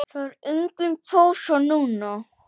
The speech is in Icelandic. Það er engin pása núna.